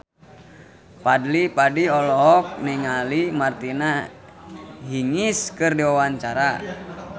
Fadly Padi olohok ningali Martina Hingis keur diwawancara